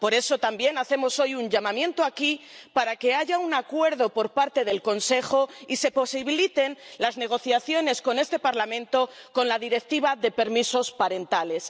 Por eso también hacemos hoy un llamamiento aquí para que haya un acuerdo por parte del Consejo y se posibiliten las negociaciones con este Parlamento con la Directiva de permisos parentales.